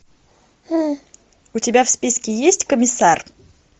у тебя в списке есть комиссар